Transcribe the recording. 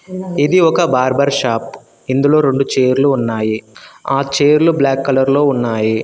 ఇది ఒక barber shop ఇందులో రెండు చైర్లు ఉన్నాయి ఆ చైర్లు బ్లాక్ కలర్ లో ఉన్నాయి.